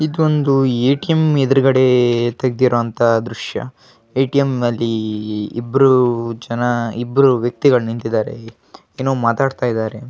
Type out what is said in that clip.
ಇದೊಂದು ಎ.ಟಿ.ಎಂ ಎದುರುಗಡೆ ತೆಗೆದಿರೋ ಅಂತ ದೃಶ್ಯ ಎ.ಟಿ.ಎಂ ನಲ್ಲಿ ಇಬ್ಬರು ಜನ ಇಬ್ಬರು ವ್ಯಕ್ತಿಗಳು ನಿಂತಿದ್ದಾರೆ ಏನೋ ಮಾತಾಡ್ತಿದ್ದಾರೆ .